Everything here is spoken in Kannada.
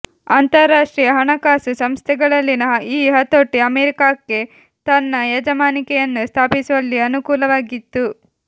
ಅಂತರ್ರಾಷ್ಟ್ರೀಯ ಹಣಕಾಸು ಸಂಸ್ಥೆಗಳಲ್ಲಿನ ಈ ಹತೋಟಿ ಅಮೆರಿಕಾಕ್ಕೆ ತನ್ನ ಯಜಮಾನಿಕೆಯನ್ನು ಸ್ಥಾಪಿಸುವಲ್ಲಿ ಅನುಕೂಲವಾಗಿತ್ತು